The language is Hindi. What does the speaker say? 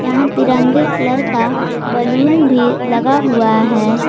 यहां तिरंगे कलर का बलून भी लगा हुआ है।